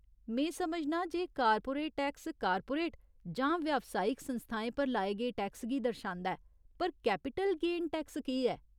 में समझनां जे कारपोरेट टैक्स कारपोरेट जां व्यावसायिक संस्थाएं पर लाए गे टैक्स गी दर्शांदा ऐ पर कैपिटल गेन टैक्स केह् ऐ ?